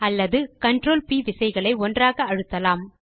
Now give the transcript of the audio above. அல்லது CTRL ப் விசைகளை ஒன்றாக அழுத்தலாம்